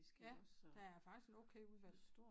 Jeg der er faktisk et okay udvalg